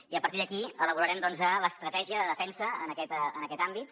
i a partir d’aquí elaborarem doncs l’estratègia de defensa en aquest àmbit